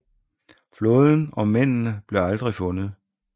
Flåden og mændene blev aldrig fundet